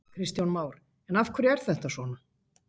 Kristján Már: En af hverju er þetta svona?